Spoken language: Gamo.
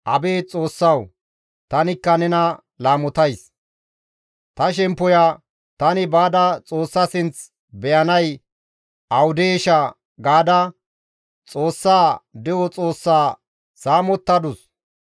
«Ta shemppoya tani baada Xoossa sinth beyanay awudeeshshaa?» gaada Xoossa, de7o Xoossa saamettadus.